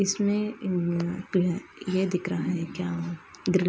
यह दिख रहा है क्या --